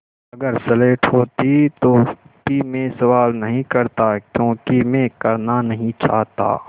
अगर स्लेट होती तो भी मैं सवाल नहीं करता क्योंकि मैं करना नहीं चाहता